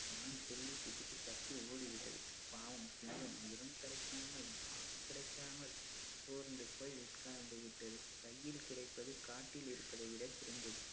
மான் துள்ளி குதித்து தப்பி ஓடிவிட்டது. பாவம் சிங்கம் முயலும் கிடைக்காமல் மானும் கிடைக்காமல் சோர்ந்து போய் உட்கார்ந்து விட்டது. கையில் கிடைப்பது காட்டில் இருப்பதைவிட சிறந்தது.